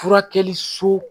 Furakɛli so